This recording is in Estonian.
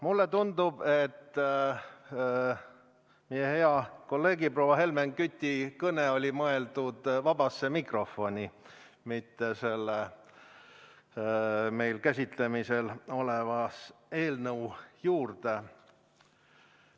Mulle tundub, et meie hea kolleegi, proua Helmen Küti kõne oli mõeldud vabasse mikrofoni, mitte meil käsitlemisel oleva eelnõu kohta.